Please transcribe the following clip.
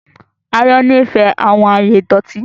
Àyàn nifẹ awọn aaye idọti